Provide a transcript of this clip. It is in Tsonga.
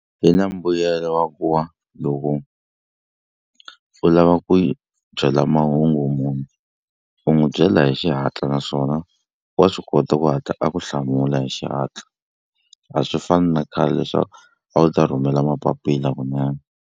Yi na mbuyelo wa ku wa loko u lava ku hi byela mahungu munhu u n'wi byela hi xihatla naswona wa swi kota ku hatla a ku hlamula hi xihatla a swi fani na khale leswaku a wu ta rhumela mapapila kunene.